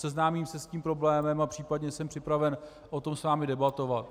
Seznámím se s tím problémem a případně jsem připraven o tom s vámi debatovat.